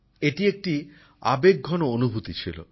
এটা একটি আবেগঘন অনুভূতি ছিল